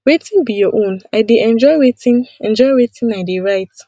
wetin be your own i dey enjoy wetin enjoy wetin i dey write